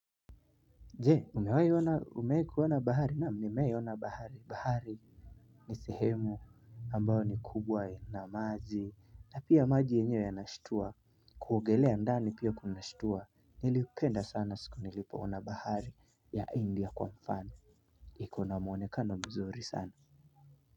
Jee umewee kuona bahari na mnimee ona bahari. Bahari ni sehemu ambao ni kubwa ina maji na pia maji enyewe ya nashtua. Kuogelea ndani pia kunashtua. Nilipenda sana siku nilipoona bahari ya India kwa mfano. Iko na muonekano mzuri sana.